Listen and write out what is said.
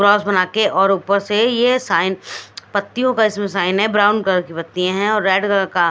cross बना के और ऊपर से ये साइन पत्तियों का इसमें साइन है ब्राउन कलर की पत्तियां है और रेड कलर का --